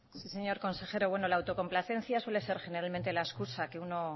sí señor consejero la autocomplacencia suele ser generalmente la excusa que uno